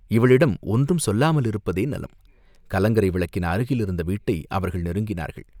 இவளிடம் ஒன்றும் சொல்லாமலிருப்பதே நலம்." கலங்கரை விளக்கின் அருகிலிருந்த வீட்டை அவர்கள் நெருங்கினார்கள்.